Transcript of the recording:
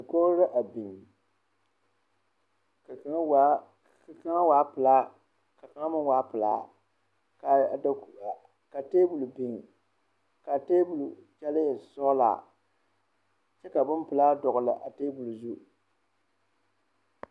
Dakoɡro la a biŋ ka kaŋ waa pelaa ka kaŋ meŋ waa pelaa ka teebol biŋ ka a teebol kyɛlɛɛ e sɔɡelaa kyɛ ka bompelaa dɔɡele a teebol zu.